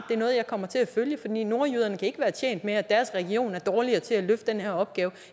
det er noget jeg kommer til at følge for nordjyderne kan ikke være tjent med at deres region er dårligere til at løfte den her opgave